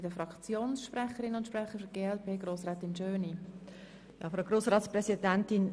Die BDPFraktion lehnt beide Anträge ab.